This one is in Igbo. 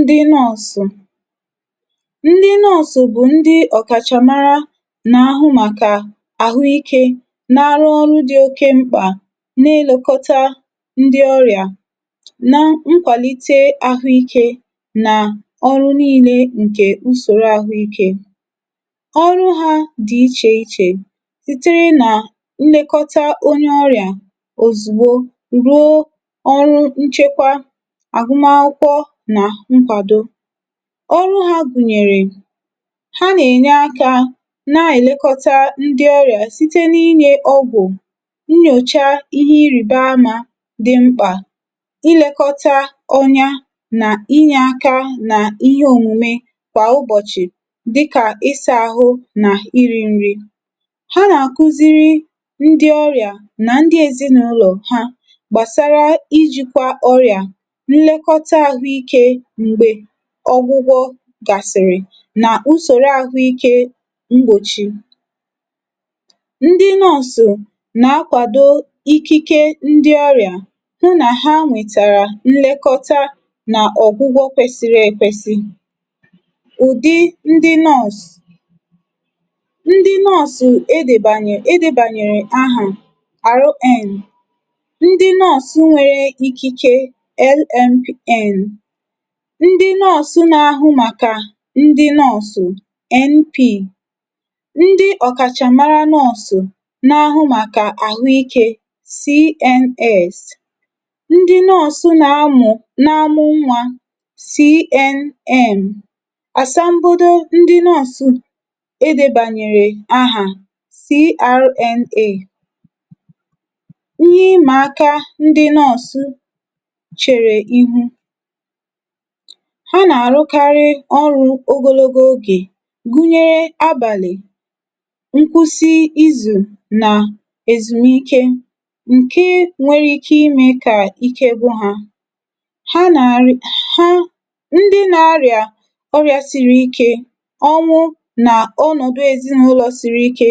ndị nurse. ndị nurse bụ̀ ndị ọ̀kàchàmara nà ahụ màkà àhụ ikē, na arụ ọrụ dị oke mkpà, n’ilẹkọta ndị ọrị̀à, na nkwàlite ahụ ikē nà ọrụ nille ǹkẹ̀ usòro ahụ ikē. ọrụ ha dị̀ ichè ichè, sitere nà nlekọta onye ọrị̀à òzùgbo, ruo ọrụ nchekwa àgụma akwụkwọ nà nkwàdo. ọrụ ha gùnyèrè, ha nà ènye akā nà èlekọta ndị ọrị̀à, site n’ịnyẹ ọgwụ̀, nyòcha ịhẹ irìbamā dị mkpà, ịlẹkọta ọnya, nà ịnyẹ aka nà ịhẹ òmùme kwà ụbọ̀chị̀, dịkà ịsā àhụ nà irī nri. ha nà àkuziri ndị ọrị̀à, nà ndị ezịnụlọ̀ ha gbàsara ijīkwa ọrị̀à, nlekọta ahụ ikē, m̀gbè ọgwụgwọ gàsị̀rị̀, nà usòro ahụikē mgbòchi. ndị nurse nà akwàdo ikike ndị ọrị̀à, hụ nà ha nwètàrà nlekọta nà ọ̀gwụgwọ kwẹsịrị ẹkwẹsị. ùdị ndị nurse, ndị nurse edèbànyè, edēbànyèrè ahà RN, ndị nurse nwere ikike LMN. ndị nurse na ahụ màkà ndị nurse MP. ndị ọ̀kàchàmara nurse, na ahụ màkà àhụ ikē CNS, ndị nurse na amụ̀, na amụ nwā CNM. àsambodo ndị nurse edēbànyère ahà, CRNA. ịhẹ ịmà aka ndị nurse chèrè iru. ha nà àrụkarị ọrụ ogonogo oge, gunyere abàlị̀, nkwusi izù, nà èzùmike, ǹke nwere ike ịmẹ̄ kà ike gwụ hā. ha nà àrị ndị na arị̀à ọrịa siri ike, ọnwụ nà ọnọ̀dụ ezịnụlọ siri ike